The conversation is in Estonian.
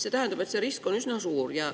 See tähendab, et risk on üsna suur.